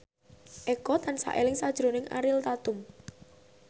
Eko tansah eling sakjroning Ariel Tatum